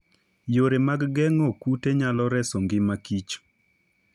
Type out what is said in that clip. Yore mag geng'o kute nyalo reso ngima kich